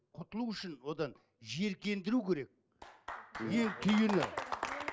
құтылу үшін одан жиіркендіру керек ең түйіні